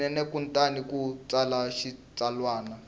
swinene kutani u tsala xitsalwana